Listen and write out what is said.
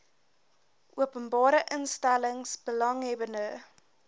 openbare instellings belanghebbende